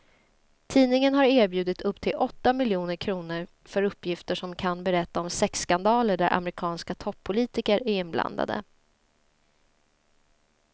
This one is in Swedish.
Tidningen har erbjudit upp till åtta miljoner kr för uppgifter som kan berätta om sexskandaler där amerikanska toppolitiker är inblandade.